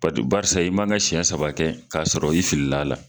Ba barisa i mana siɲɛ saba kɛ k'a sɔrɔ i filila a la